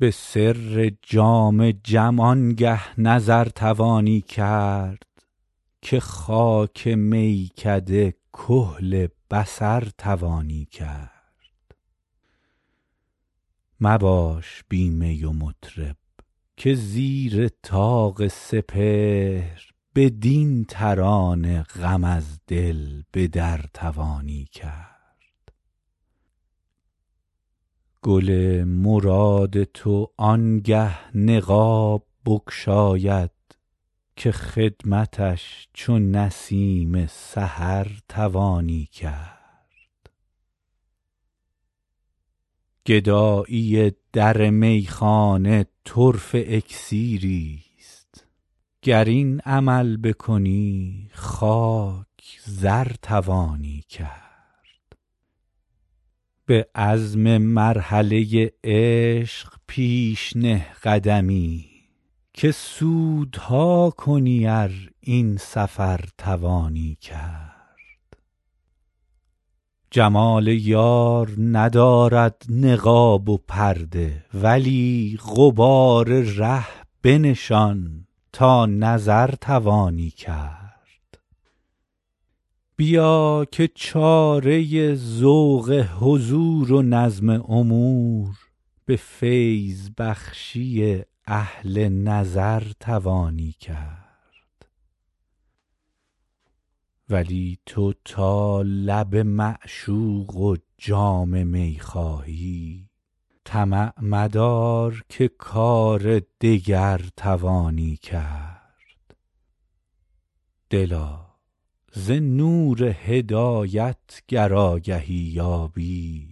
به سر جام جم آنگه نظر توانی کرد که خاک میکده کحل بصر توانی کرد مباش بی می و مطرب که زیر طاق سپهر بدین ترانه غم از دل به در توانی کرد گل مراد تو آنگه نقاب بگشاید که خدمتش چو نسیم سحر توانی کرد گدایی در میخانه طرفه اکسیریست گر این عمل بکنی خاک زر توانی کرد به عزم مرحله عشق پیش نه قدمی که سودها کنی ار این سفر توانی کرد تو کز سرای طبیعت نمی روی بیرون کجا به کوی طریقت گذر توانی کرد جمال یار ندارد نقاب و پرده ولی غبار ره بنشان تا نظر توانی کرد بیا که چاره ذوق حضور و نظم امور به فیض بخشی اهل نظر توانی کرد ولی تو تا لب معشوق و جام می خواهی طمع مدار که کار دگر توانی کرد دلا ز نور هدایت گر آگهی یابی